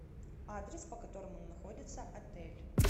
адрес по которому находится отель